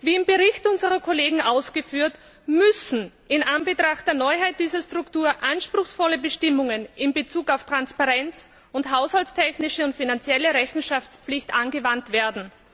Wie im Bericht unserer Kollegen ausgeführt, müssen in Anbetracht der Neuheit dieser Struktur anspruchsvolle Bestimmungen in Bezug auf Transparenz und haushaltstechnische und finanzielle Rechenschaftspflicht angewandt werden.